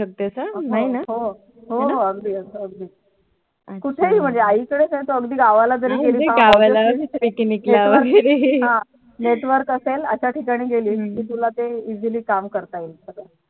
हो अगदी अगदी कुठेही आई कडे जर गावाला Network असेल अश्या ठिकाणी गेली तर तुला काम करता येईल